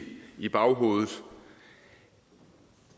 i baghovedet